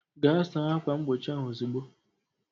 Gaa saa ákwà mgbochi ahụ ozugbo!